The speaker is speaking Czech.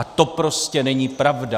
A to prostě není pravda.